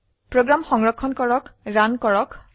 program সংৰক্ষণ কৰে run কৰক